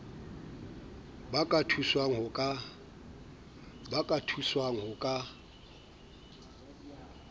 ba ka thuswang ho ka